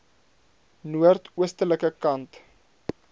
noord oostelike kant